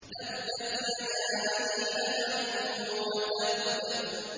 تَبَّتْ يَدَا أَبِي لَهَبٍ وَتَبَّ